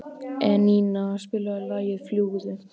Einína, spilaðu lagið „Fljúgðu“.